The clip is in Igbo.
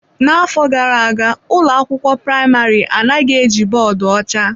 N'afọ gara aga ụlọ akwụkwọ praịmarị anaghị eji bọọdụ ọcha.